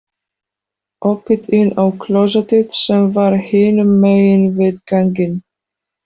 Opið inn á klósettið sem var hinum megin við ganginn.